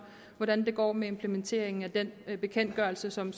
hvordan det går med implementeringen af den bekendtgørelse som